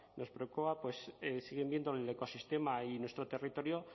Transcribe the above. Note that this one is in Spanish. nos preocupa pues siguen viendo el ecosistema y nuestro territorio